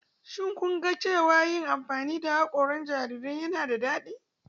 Shin kun ga cewa yin amfani da haƙoran jarirai yana da daɗi?